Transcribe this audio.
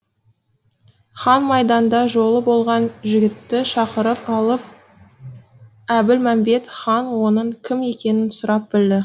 хан майданда жолы болған жігітті шақырып алып әбілмәмбет хан оның кім екенін сұрап білді